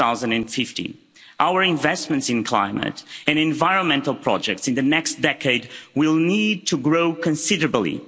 2050. Our investments in climate and environmental projects in the next decade will need to grow considerably.